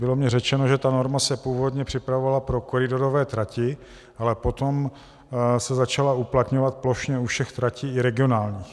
Bylo mi řečeno, že ta norma se původně připravovala pro koridorové trati, ale potom se začala uplatňovat plošně u všech tratí, i regionálních.